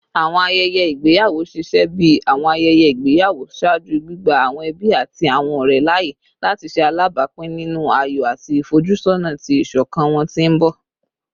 Awọn ayẹyẹ igbeyawo ṣiṣẹ bi awọn ayẹyẹ igbeyawo ṣaaju, gbigba awọn ẹbi ati awọn ọrẹ laaye lati ṣe alabapin ninu ayọ ati ifojusona ti iṣọkan wọn ti n bọ